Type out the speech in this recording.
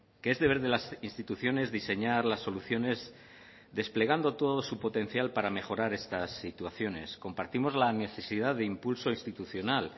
que es deber de las instituciones diseñar las soluciones desplegando todo su potencial para mejorar estas situaciones compartimos la necesidad de impulso institucional